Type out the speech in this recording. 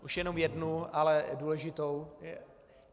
Už jenom jednu, ale důležitou.